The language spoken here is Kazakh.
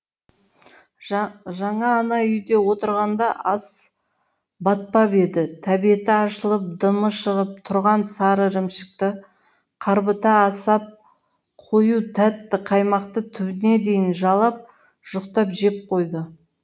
жаңа ана үйде отырғанда ас батпап еді тәбеті ашылып дымы шығып тұрған сары ірімшікті қарбыта асап қою тәтті қаймақты түбіне дейін жалап жұқтап жеп қойды